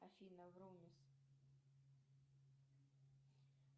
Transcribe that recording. афина врумиз